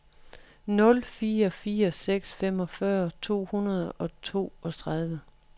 nul fire fire seks femogfyrre to hundrede og toogtredive